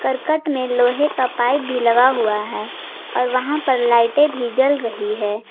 करकट में लोहे का पाइप भी लगा हुआ है और वहां पर लाइटे भी जल रही है।